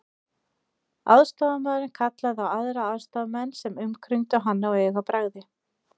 Aðstoðarmaðurinn kallaði á aðra aðstoðarmenn sem umkringdu hann á augabragði.